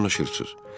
Nə danışırsız?